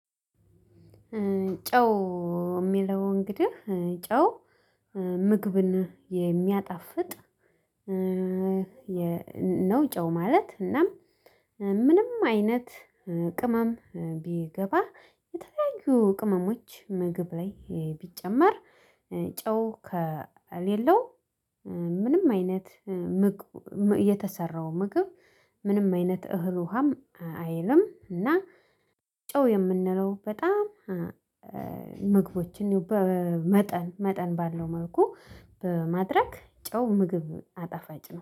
ጨው የሚለው እንግዲህ ጨው ምግብን የሚያጣፍጥ። ነው ጨው ማለት እናም ምንም አይነት ቅመም ቢገባ የተለያዩ ቅመሞች ምግብ ላይ ቢጨመር ጨው ከሌለው ምንም አይነት የተሰራው ምግብ። ምንም አይነት እህል ውሃም አይልም። እና ጨው የምንለው በጣም ምግቦችን መጠን መጠን ባለው መልኩ ማድረግ ጨው ምግብ አጠፋጭ ነው